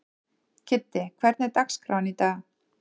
Kiddi, hvernig er dagskráin í dag?